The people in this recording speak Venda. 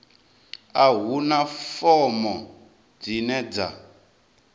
a huna fomo dzine dza